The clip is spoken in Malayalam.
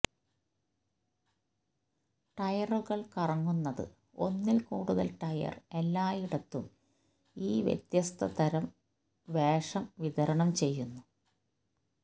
ടയറുകൾ കറങ്ങുന്നത് ഒന്നിൽ കൂടുതൽ ടയർ എല്ലായിടത്തും ഈ വ്യത്യസ്ത തരം വേഷം വിതരണം ചെയ്യുന്നു